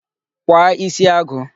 Kwa isi agụ!